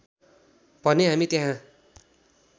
भने हामी त्यहाँ